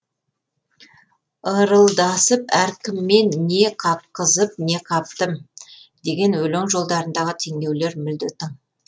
ырылдасып әркіммен не қапқызып не қаптым деген өлең жолдарындағы теңеулер мүлде тың